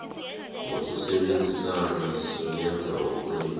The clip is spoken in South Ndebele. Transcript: ngokusebenzisana singenza okunengi